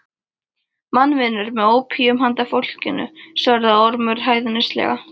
Mannvinur með ópíum handa fólkinu, svaraði Ormur hæðnislega.